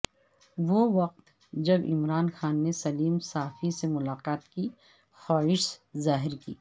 وہ وقت جب عمران خان نے سلیم صافی سے ملاقات کی خواہش ظاہر کی